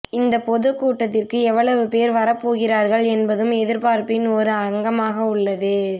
இந்த பொதுக் கூட்டத்திற்கு எவ்வளவு பேர் வரப் போகிறார்கள் என்பதும் எதிர்பார்ப்பின் ஒரு அங்கமாக உள்ளது